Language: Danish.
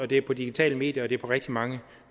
det er på digitale medier og det er på rigtig mange